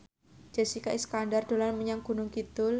Jessica Iskandar dolan menyang Gunung Kidul